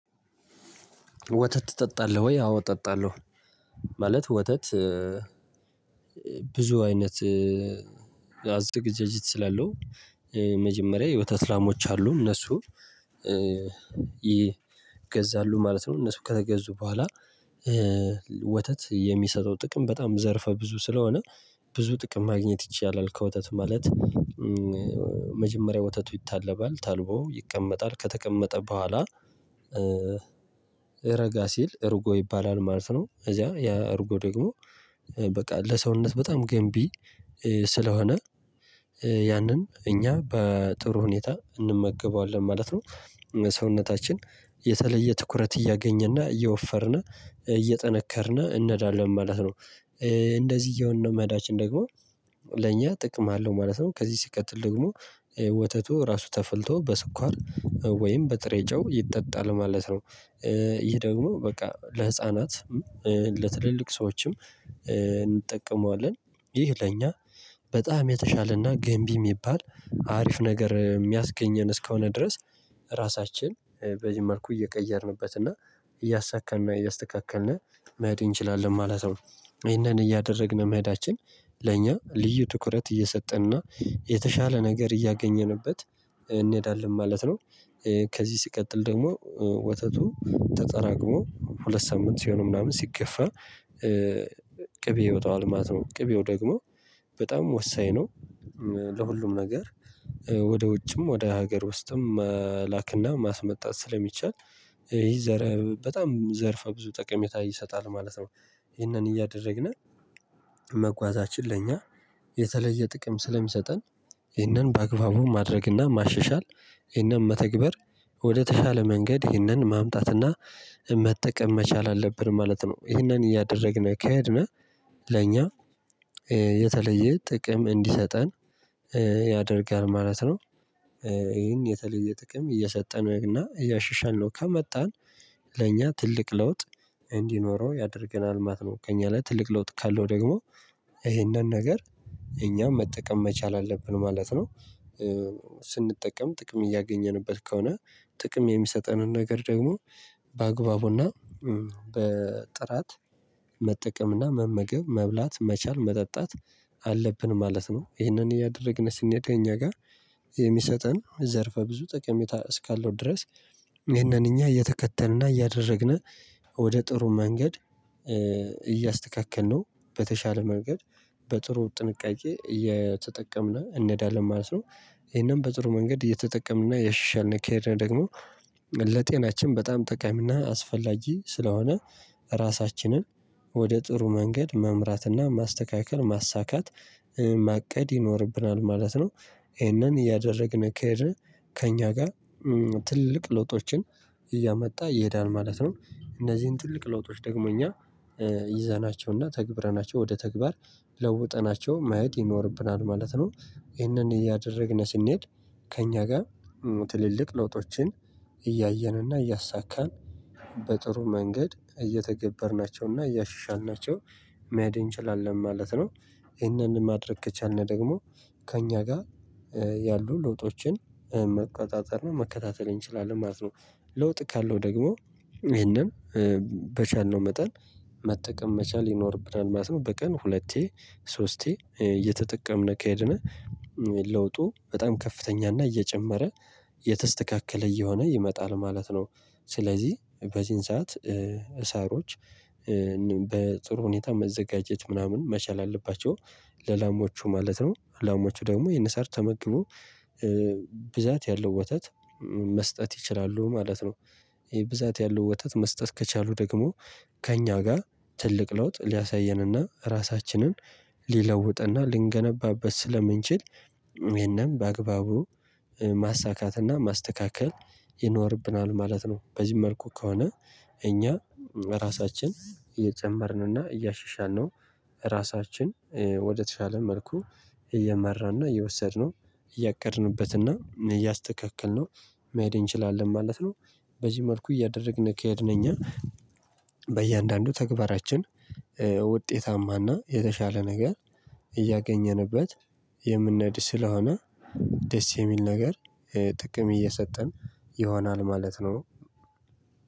ወተት ትጠጣለህ ወይ? አዎ እጠጣለሁ። ማለት ወተት ብዙ አይነት አዝግ ጀጅት ስላለው መጀመሪያ የወተት ላሞች አሉ እነሱ ይገዛሉ ማለት ነው። እነሱ ከተገዙ በኋላ ወተት የሚሰጠው ጥቅም በጣም ዘርፈ ብዙ ስለሆነ ብዙ ጥቅም ማግኘት ይቻላል። ከወተት ማለት መጀመሪያ ወተቱ ይታለባል ታልቦ ይቀመጣል ከተቀመጠ በኋላ ረጋ ሲል እርጎ ይባላል ማለት ነው። እዚያ ያ እርጎ ደግሞ በቃ ለሰውነት በጣም ገንቢ ስለሆነ ያንን እኛ በጥሩ ሁኔታ እንመገበዋለን ማለት ነው። ሰውነታችን የተለየ ትኩረት እያገኘና እየወፈርን እየጠነከርን እንዳለን ማለት ነው። እንደዚህ እየሆንን ነው መዳችን ደግሞ ለእኛ ጥቅም አለው ማለት ነው። ከዚህ ሲቀትል ደግሞ ወተቱ እራሱ ተፍልቶ በስኳር ወይም በጥሬ ጨው ይጠጣል ማለት ነው። ይህ ደግሞ በቃ ለህፃናት ለትልልቅ ሰዎችም እንጠቀመዋለን ይህ ለኛ በጣም የተሻለና ገንቢ የሚባል አሪፍ ነገር የሚያስገኘን እስከሆነ ድረስ። ራሳችን በዚህ መልኩ እየቀየርንበት እና እያሳካን እና እያስተካከልን መሄድ እንችላለን ማለት ነው። ይሄንን እያደረግን መሄዳችን ለእኛ ልዩ ትኩረት እየሰጠንና የተሻለ ነገር እያገኘንበት እንሄዳለን ማለት ነው። ከዚህ ሲቀጥል ደግሞ ወተቱ ተጠራቅሞ ሁለት ሳምንት ሲሆን ምናምን ሲከፋ ቅቤ ይወጣዋል ማለት ነው። ቅቤው ደግሞ በጣም ወሳኝ ነው። ለሁሉም ነገር ወደ ውጭም ወደ ሀገር ውስጥም መላክና ማስመጣት ስለሚቻል በጣም ዘርፈ ብዙ ጠቀሜታ ይሰጣል ማለት ነው። እሄንን እያደረግን መጓዛችን የተለየ ጥቅም ስለሚሰጠን እህንን በአግባቡ ማድረግና ማሸሻል እህንን መተግበር ወደተሻለ መንገድ እህንን ማምጣትና መጠቀም መቻል አለብን ማለት ነው። እህንን እያደረግን ከህድን ለእኛ የተለየ ጥቅም እንዲሰጠን ያደርጋል ማለት ነው። እሄን የተለየ ጥቅም እየሰጠነው እና እያሻሻልነው ከመጣን ለእኛ ትልቅ ለውጥ እንዲኖረው ያደርገናል ማለት ነው። ከእኛ ላይ ትልቅ ለውጥ ካለው ደግሞ እሄንን ነገር እኛም መጠቀም መቻል አለብን ማለት ነው። ስንጠቀም ጥቅም እያገኘንበት ከሆነ ጥቅም የሚሰጠንን ነገር ደግሞ በአግባቡና በጥራት መጠቀምና መመገብ መብላት መቻል መጠጣት አለብን ማለት ነው። እሄንን እያደረግን ስንሄድ የኛ ጋር የሚሰጠን ዘርፈ ብዙ ጠቀሜታ እስካለው ድረስ ይሄንን እኛ እየተከተልንና እያደረግን ወደ ጥሩ መንገድ እያስተካከልነው በተሻለ መንገድ በጥሩ ጥንቃቄ እየተጠቀምን እንሄዳለን ማለት ነው። እሄንን በጥሩ መንገድ እየተጠቀምንና ያሻሻልን እንኬድ ደግሞ ለጤናችን በጣም ጠቃሚና አስፈላጊ ስለሆነ ራሳችንን ወደ ጥሩ መንገድ መምራትና ማስተካከል ማሳካት ማቀድ ይኖርብናል ማለት ነው። እሄንን እያደረግን ከሄድን ከእኛ ጋር ትልቅ ለውጦችን እያመጣ ይሄዳል ማለት ነው። እነዚህን ትልቅ ለውጦች ደግሞ እኛ ይዘናቸውና ተግብረናቸው ወደ ተግባር ለውጠናቸው ማየት ይኖርብናል ማለት ነው። እሄንን እያደረግን ስንሄድ ከእኛ ጋር ትልልቅ ለውጦችን እያየንና እያሳካን በጥሩ መንገድ እየተገበርናቸውና እያሻሻልናቸው መሄድ እንችላለን ማለት ነው። እሄንን ማድረግ ከቻልን ደግሞ ከእኛ ጋር ያሉ ለውጦችን መቆጣጠር እና መከታተል እንችላለን ማለት ነው። ለውጥ ካለው ደግሞ እሄንን በቻልነው መጠን መጠቀም መቻል ይኖርብናል ማለት ነው። በቀን ሁለቴ ሶስቴ እየተጠቀምን ከሄድን ለውጡ በጣም ከፍተኛ እና እየጨመረ የተስተካከለ እየሆነ ይመጣል ማለት ነው። ስለዚህ በዚህን ሰዓት እሳሮች በጥሩ ሁኔታ መዘጋጀት ምናምን መቻል አለባቸው ለላሞቹ ማለት ነው። ላሞቹ ደግሞ እሄንን ሳር ተመግቦ ብዛት ያለው ወተት መስጠት ይችላሉ ማለት ነው። እሄ ብዛት ያለው ወተት መስጠት ከቻሉ ደግሞ ከእኛ ጋር ትልቅ ለውጥ ሊያሳየንና ራሳችንን ሊለውጥና ልንገነባበት ስለምንችል እሄንን በአግባቡ ማሳካትና ማስተካከል ይኖርብናል ማለት ነው። በዚህ መልኩ ከሆነ እኛ ራሳችን እየጨመርንና እያሻሻልነው እራሳችን ወደተሻለ መልኩ እየመራንና እየወሰድነው እያቀድንበትና እያስተካከልነው መሄድ እንችላለን ማለት ነው። በዚህ መልኩ እያደረግን ከሄድን እኛ በእያንዳንዱ ተግባራችን ውጤታማና የተሻለ ነገር እያገኘንበት የምንሄድ ስለሆነ ደስ የሚል ነገር ጥቅም እየሰጠን ይሆናል ማለት ነው።